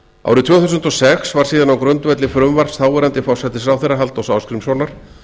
árið tvö þúsund og sex var síðan á grundvelli frumvarps þáverandi forsætisráðherra halldórs ásgrímssonar